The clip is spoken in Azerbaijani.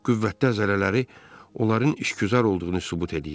Qüvvətli əzələləri onların işgüzar olduğunu sübut eləyirdi.